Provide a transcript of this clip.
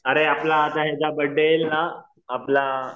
अरे आपल्या याचा बडे येईल ना आपला